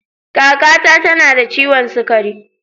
Kaka na ta na da ciwon sugari.